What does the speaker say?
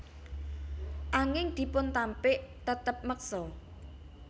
Anging dipuntampik tetep meksa